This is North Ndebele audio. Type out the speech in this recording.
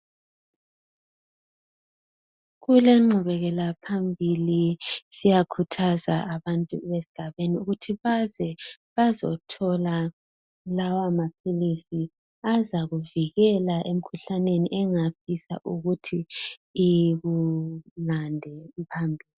Kulenqubekela phambili siyakhuthaza abantu esigabeni ukuthi baze bazothola lawa maphilisi azakuvikela emkhuhlaneni engafisa ukuthi ikulande phambili